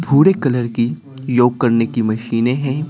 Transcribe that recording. भूरे कलर की योग करने की मशीनें हैं।